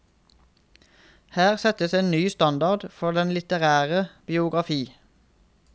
Her settes en ny standard for den litterære biografi.